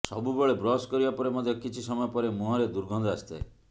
ସବୁବେଳେ ବ୍ରଶ କରିବା ପରେ ମଧ୍ୟ କିଛି ସମୟ ପରେ ମୁହଁରେ ଦୁର୍ଗନ୍ଧ ଆସିଥାଏ